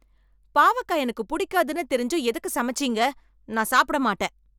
பாவக்கா எனக்கு புடிக்காதுனு தெரிஞ்சும் எதுக்கு சமச்சீங்க. நான் சாப்பிட மாட்டேன்